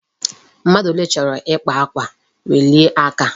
Mmadụ ole chọrọ ịkpa akwa, welie aka!